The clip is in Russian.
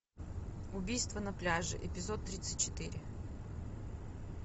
убийство на пляже эпизод тридцать четыре